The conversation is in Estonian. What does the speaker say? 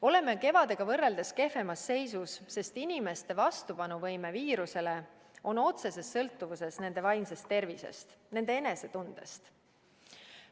Oleme kevadega võrreldes kehvemas seisus, sest inimeste vastupanuvõime viirusele on otseses sõltuvuses nende vaimsest tervisest, nende enesetundest.